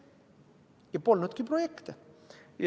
Ja polnudki projekte.